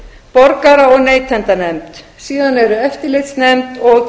borgara og neytendanefnd síðan eru eftirlitsnefnd og